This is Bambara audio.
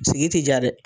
Sigi ti ja dɛ